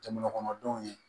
Jamana kɔnɔdenw ye